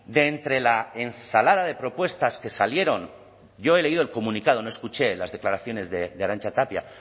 de entre la ensalada de propuestas que salieron yo he leído el comunicado no escuché las declaraciones de arantxa tapia